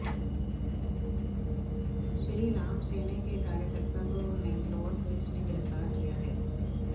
श्रीराम सेने के कार्यकर्ता को मैंगलोर पुलिस ने गिरफ्तार किया है